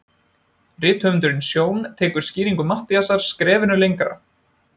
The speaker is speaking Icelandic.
Rithöfundurinn Sjón tekur skýringu Matthíasar skrefinu lengra.